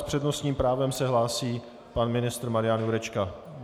S přednostním právem se hlásí pan ministr Marian Jurečka.